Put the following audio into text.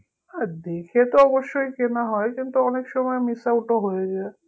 হ্যাঁ দেখে তো অবশ্যই কেনা হয় কিন্তু অনেক সময় miss out হয়ে যায়